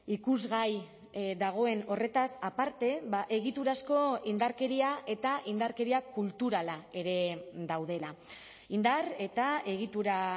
ikusgai dagoen horretaz aparte egiturazko indarkeria eta indarkeria kulturala ere daudela indar eta egitura